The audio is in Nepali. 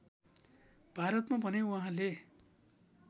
भारतमा भने उहाँले